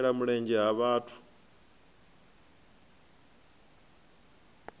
u shela mulenzhe ha vhathu